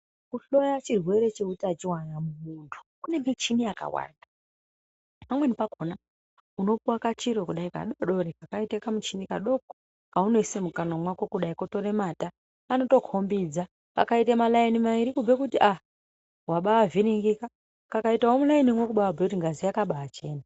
Kuhloya chirwere cheutachiwa na mumuntu kune michini yakawanda pamweni pakona unopuwa kachiro kudai kadodori kakaite kamuchini kadoko kaunoise mukanwa mwako kotore mata kanoto kombidza kakaite maraini mairi kubhuye kuti aa wabaa avhiringika kakaitewo muraini umwe kubhuye kuti ngazi yakabaa achena.